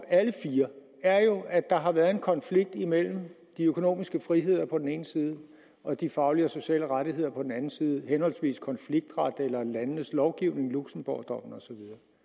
er jo at der har været en konflikt imellem de økonomiske friheder på den ene side og de faglige og sociale rettigheder på den anden side henholdsvis konfliktret eller landenes lovgivning luxembourgdommen og så